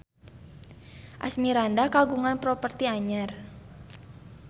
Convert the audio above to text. Asmirandah kagungan properti anyar